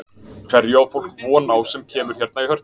Hverju á fólk von á sem kemur hérna í Hörpu?